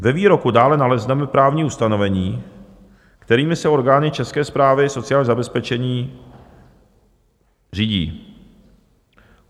Ve výroku dále nalezneme právní ustanovení, kterými se orgány České správy sociálního zabezpečení řídí.